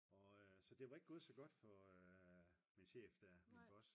og øh så det var ikke gået så godt for min chef der min boss